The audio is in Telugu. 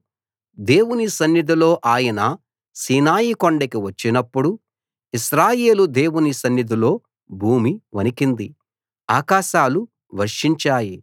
దేవుని సన్నిధిలో ఆయన సీనాయి కొండకు వచ్చినపుడు ఇశ్రాయేలు దేవుని సన్నిధిలో భూమి వణికింది ఆకాశాలు వర్షించాయి